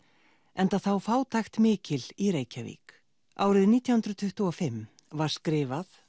enda þá fátækt mikil í Reykjavík árið nítján hundruð tuttugu og fimm var skrifað